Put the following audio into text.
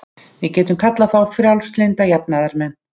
Við getum kallað þá frjálslynda jafnaðarmenn.